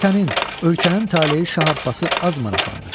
Vətənin, ölkənin taleyi Şah Abbası az maraqlandırır.